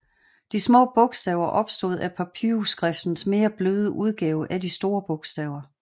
De små bogstaver opstod af papyrusskriftens mere bløde udgave af de store bogstaver